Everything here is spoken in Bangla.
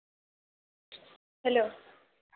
Hello